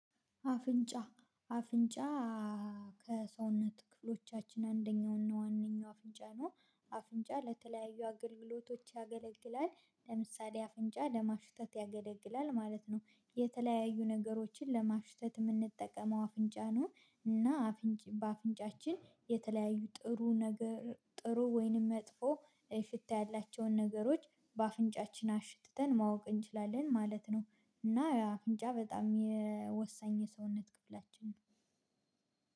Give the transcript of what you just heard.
አፍንጫ አፍንጫ ከሰውነት ክፍሎቻችን አንደኛውና ዋነኛው አፍንጫ ነው። አፍንጫ ለተለያዩ አገልግሎቶች ያገለግላል ለምሳሌ አፍንጫ ለማሽተት ያገለግላል ማለት ነው። የተለያዩ ነገሮችን ለማሽተት የምንጠቀመው አፍንጫ ነው። እና በአፍንጫችን የተለያዩ ጥሩ ነገር ጥሩ ወይንም መጥፎ ሽታ ያላቸውን ነገሮች በአፍንጫችን አሽትተን ማወቅ እንችላለን ማለት ነው። እና አፍንጫ በጣም ወሳኝ የሰውነት ክፍላችን ነው።